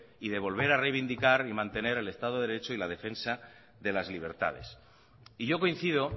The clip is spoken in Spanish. y de volver a reivindicar y mantener el estado de derecho y la defensa de las libertades y yo coincido